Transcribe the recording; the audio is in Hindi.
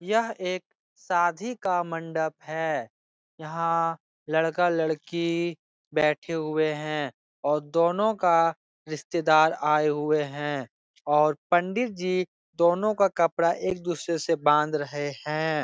यह एक शादी का मंडप है । यहाँ लड़का-लड़की बेठे हुए हैं और दोनों का रिश्तेदार आये हुये हैं और पंडित जी दोनों का कपड़ा एक दुसरे से बांध रहे हैं ।